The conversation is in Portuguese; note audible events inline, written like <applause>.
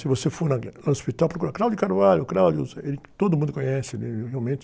Se você for ali no hospital, procura,, <unintelligible> não sei o quê, todo mundo conhece, ele realmente...